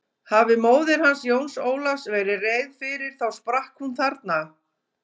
Hafi móðir hans Jóns Ólafs verið reið fyrir þá sprakk hún þarna.